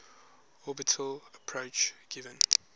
orbital approach gives